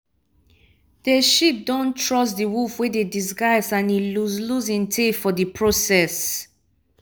de sheep don trust de wolf wey dey disguise and e lose lose im tail for de process